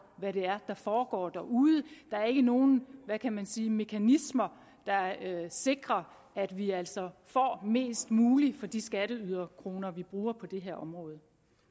hvad det er der foregår derude der er ikke nogen hvad kan man sige mekanismer der sikrer at vi altså får mest muligt for de skatteyderkroner vi bruger på det her område